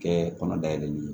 Kɛ kɔnɔ dayɛlɛli